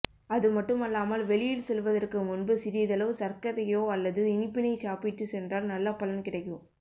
அதுமட்டுமல்லாமல் வெளியில் செல்வதற்கு முன்பு சிறிதளவு சர்க்கரையோ அல்லது இனிப்பினை சாப்பிட்டு சென்றால் நல்ல பலன் கிடைக்கும்